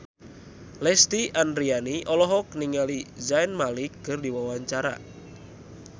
Lesti Andryani olohok ningali Zayn Malik keur diwawancara